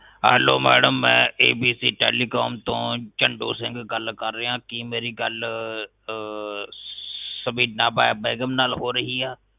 hello madam ਮੈ abt telecom ਤੋਂ ਚੰਡੋ ਸਿੰਘ ਗਲ ਕਰ ਰਿਹਾ ਕੀ ਮੇਰੀ ਗਲ ਅਹ ਸਬੀਨਾ ਬ ਬੇਗ਼ਮ ਨਾਲ ਹੋ ਰਹੀ ਆ